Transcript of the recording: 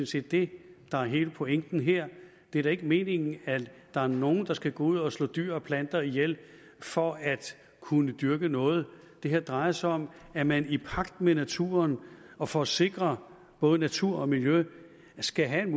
set det der er hele pointen her det er da ikke meningen at der er nogen der skal ud og slå dyr og planter ihjel for at kunne dyrke noget det her drejer sig om at man i pagt med naturen og for at sikre både natur og miljø skal have en